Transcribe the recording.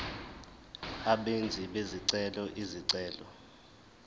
abenzi bezicelo izicelo